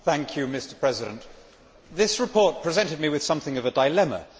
Mr President, this report presented me with something of a dilemma.